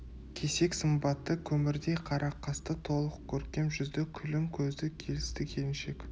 кесек сымбатты көмірдей қара қасты толық көркем жүзді күлім көзді келісті келіншек